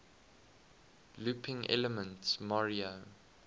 looping elements mario